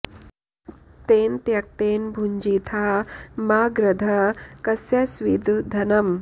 तेन त्यक्तेन भुञ्जीथा मा गृधः कस्य स्विद् धनम्